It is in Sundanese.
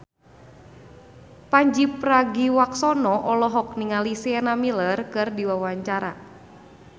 Pandji Pragiwaksono olohok ningali Sienna Miller keur diwawancara